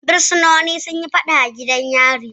Bursinoni sun yi faɗa a gidan yari